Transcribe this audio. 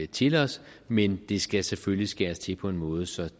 til os men det skal selvfølgelig skæres til på en måde så